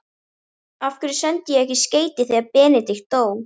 Af hverju sendi ég ekki skeyti þegar Benedikt dó?